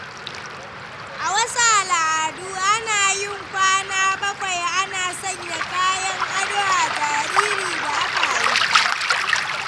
A wasu al’adu, ana yin kwana bakwai ana sanya kayan ado a jariri da aka haifa.